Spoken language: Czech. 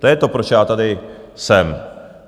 To je to, proč já tady jsem.